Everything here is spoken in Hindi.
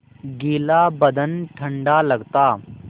गीला बदन ठंडा लगता